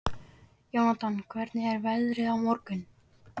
Jónatan, hvernig er veðrið á morgun?